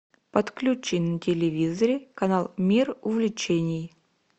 подключи на телевизоре канал мир увлечений